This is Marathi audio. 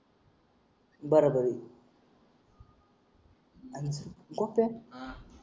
बर बर अं कसं